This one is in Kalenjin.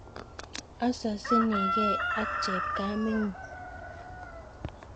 ososinike ak chepkamengung